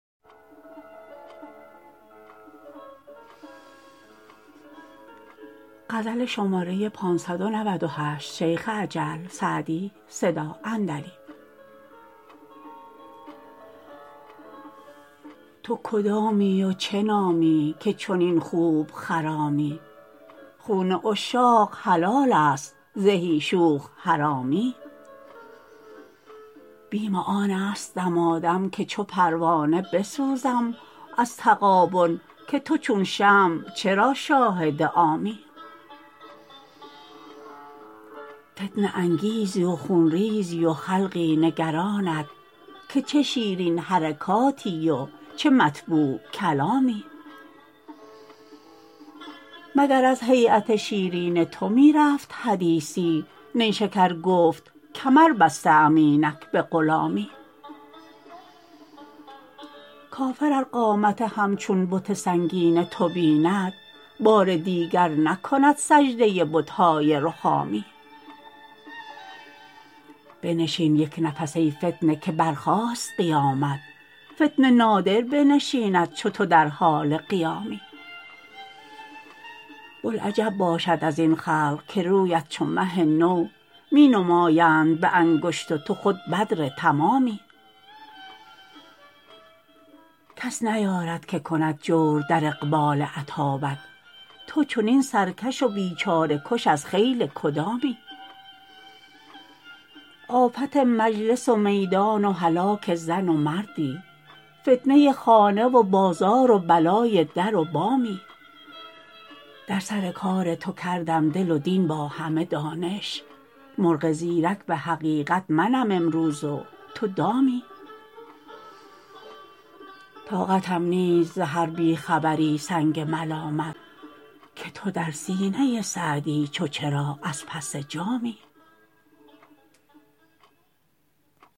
تو کدامی و چه نامی که چنین خوب خرامی خون عشاق حلال است زهی شوخ حرامی بیم آن است دمادم که چو پروانه بسوزم از تغابن که تو چون شمع چرا شاهد عامی فتنه انگیزی و خون ریزی و خلقی نگرانت که چه شیرین حرکاتی و چه مطبوع کلامی مگر از هییت شیرین تو می رفت حدیثی نیشکر گفت کمر بسته ام اینک به غلامی کافر ار قامت همچون بت سنگین تو بیند بار دیگر نکند سجده بت های رخامی بنشین یک نفس ای فتنه که برخاست قیامت فتنه نادر بنشیند چو تو در حال قیامی بلعجب باشد از این خلق که رویت چو مه نو می نمایند به انگشت و تو خود بدر تمامی کس نیارد که کند جور در اقبال اتابک تو چنین سرکش و بیچاره کش از خیل کدامی آفت مجلس و میدان و هلاک زن و مردی فتنه خانه و بازار و بلای در و بامی در سر کار تو کردم دل و دین با همه دانش مرغ زیرک به حقیقت منم امروز و تو دامی طاقتم نیست ز هر بی خبری سنگ ملامت که تو در سینه سعدی چو چراغ از پس جامی